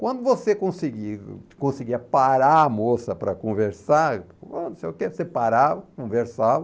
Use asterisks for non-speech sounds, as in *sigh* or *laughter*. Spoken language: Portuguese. Quando você conseguia conseguia parar a moça para conversar, *unintelligible* não sei o que, você parava, conversava,